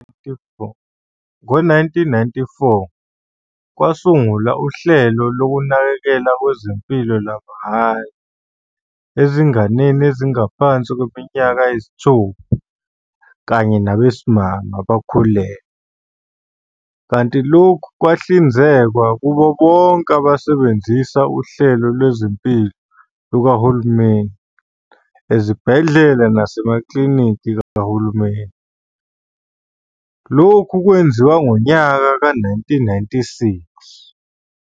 Ngo-1994, kwasungulwa uhlelo lonakekelo lwezempilo lwamahhala ezinganeni ezingaphansi kweminyaka eyisithupha, kanye nabesimame abakhulelwe, kanti lokhu kwahlinzekwa kubo bonke abasebenzisa uhlelo lwezimpilo lukahulumeni ezibhedlela nasemaklliniki kahulumeni lokhu kwenziwa ngonyaka ka-1996.